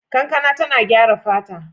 Kankana tana gyara fata.